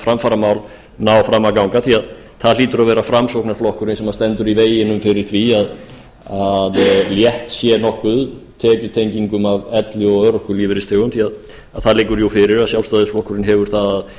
framfaramál ná fram að ganga því það hlýtur að vera framsóknarflokkurinn sem stendur í veginum fyrir því að létt sé nokkuð tekjutengingum af elli og örorkulífeyrisþegum því það liggur fyrir að sjálfstæðisflokkurinn hefur það að